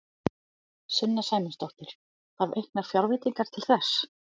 Sunna Sæmundsdóttir: Þarf auknar fjárveitingar til þess?